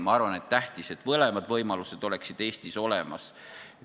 Ma arvan, on tähtis, et mõlemad võimalused oleksid Eestis olemas.